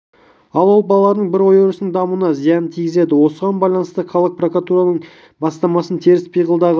ал ол балалардың бір ой-өрісінің дамуына зиянын тигізеді осыған байланысты қалалық прокуратураның бастамасымен теріс пиғылдағы